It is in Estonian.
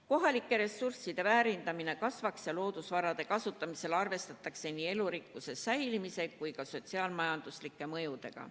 Kohalike ressursside väärindamine peaks kasvama ja loodusvarade kasutamisel tuleks arvestada nii elurikkuse säilimise kui ka sotsiaal-majanduslike mõjudega.